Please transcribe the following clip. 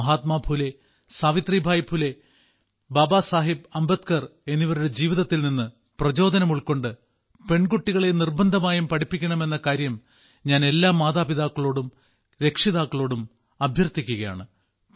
മഹാത്മാ ഫുലെ സാവിത്രിബായി ഫുലെ ബാബാ സാഹേബ് അംബേദ്കർ എന്നിവരുടെ ജീവിതത്തിൽ നിന്ന് പ്രചോദനമുൾക്കൊണ്ട് പെൺകുട്ടികളെ നിർബ്ബന്ധമായും പഠിപ്പിക്കണമെന്ന കാര്യം ഞാൻ എല്ലാ മാതാപിതാക്കളോടും രക്ഷിതാക്കളോടും അഭ്യർത്ഥിക്കുകയാണ്